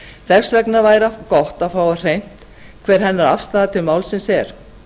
þess vegna væri gott að fá á hreint hver hennar afstaða til málsins er